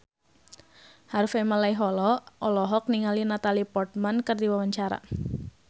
Harvey Malaiholo olohok ningali Natalie Portman keur diwawancara